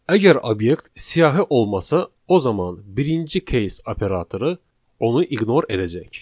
Əgər obyekt siyahı olmasa, o zaman birinci case operatoru onu ignor edəcək.